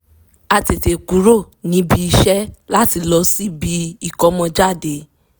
a tètè kúrò níbi iṣẹ́ láti lọ síbi ìkómọjáde